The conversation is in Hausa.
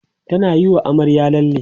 tana Yi wa amaryar lalle